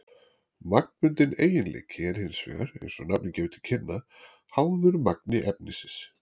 Magnbundinn eiginleiki er hins vegar, eins og nafnið gefur til kynna, háður magni efnisins.